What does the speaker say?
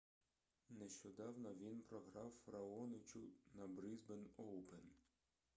нещодавно він програв раоничу на брисбен оупен